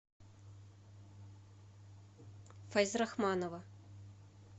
файзрахманова